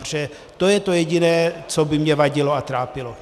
Protože to je to jediné, co by mně vadilo a trápilo.